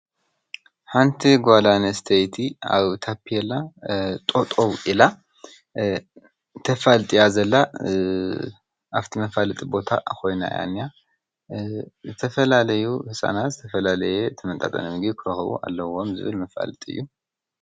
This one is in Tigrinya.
ሓንቲ ጓል ኣነስተይቲ ኣብ ታፔላ ጠጠው ኢላ ተፋልጥ እያ ዘላ ኣብቲ መፋለጢ ቦታ ኮይና እያ እንሃ ዝተፈላለዩ ህፃናት ዝተፈላለየ ዝተመጣጠነ ምግቢ ክረኽቡ ኣለዎም ዝብል መፋለጢ እዩ፡፡